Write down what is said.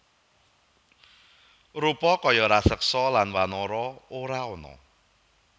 Rupa kaya raseksa lan wanara ora ana